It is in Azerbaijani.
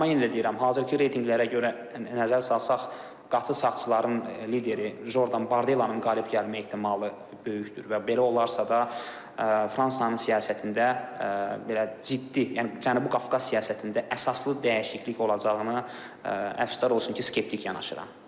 Amma yenə də deyirəm, hazırki reytinqlərə görə nəzər salsaq, qatı sağçıların lideri Jordon Bardellanın qalib gəlmə ehtimalı böyükdür və belə olarsa da Fransanın siyasətində belə ciddi, yəni Cənubi Qafqaz siyasətində əsaslı dəyişiklik olacağını əfsuslar olsun ki, skeptik yanaşıram.